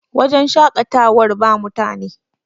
wajen shaƙatawar ba mutane